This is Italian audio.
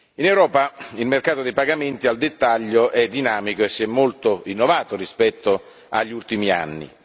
In Europa, il mercato dei pagamenti al dettaglio è dinamico e si è molto rinnovato rispetto agli ultimi anni.